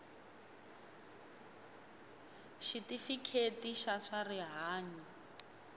xitifiketi xa swa rihanyu xi